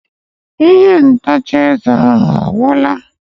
Ihe ntacha eze ahụ ogwụla?